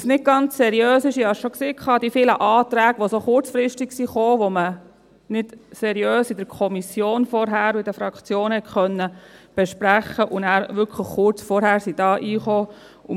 Was nicht ganz seriös ist – ich sagte es schon – sind die vielen Anträge, die so kurzfristig kamen, welche zuvor, in der Kommission und in den Fraktionen, nicht seriös vorbesprochen werden konnten, aber hier sehr kurz vorher hineinkamen.